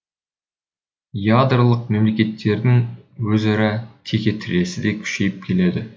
ядролық мемлекеттердің өзара текетіресі де күшейіп келеді